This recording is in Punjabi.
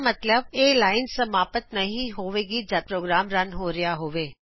ਮਤਲਬ ਕੀ ਇਹ ਲਾਇਨ ਸਮਾਪਤ ਨਹੀ ਹੋਵੇਗੀਜੱਦ ਪ੍ਰੋਗਰਾਮ ਰਨ ਹੋ ਰਿਹਾ ਹੋਵੇ